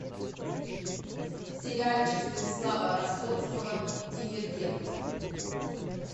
сериальчик станислава ростоцкого дивергент